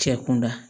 Cɛ kunda